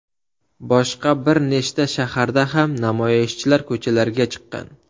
Boshqa bir nechta shaharda ham namoyishchilar ko‘chalarga chiqqan.